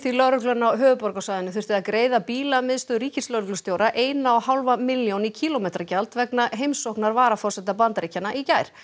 lögreglan á höfuðborgarsvæðinu þurfti að greiða ríkislögreglustjóra eina og hálfa milljón í kílómetragjald vegna heimsóknar varaforseta Bandaríkjanna í gær